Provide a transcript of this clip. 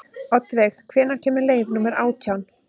Oddveig, hvenær kemur leið númer átján?